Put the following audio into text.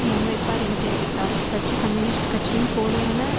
முன்வைப்பார் என தெரிவித்தார் கட்சி கம்யூனிஸ்ட் கட்சியின் போலியான